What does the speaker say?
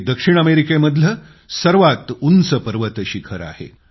हे दक्षिण अमेरिकेमधलं सर्वात उंच पर्वतशिखर आहे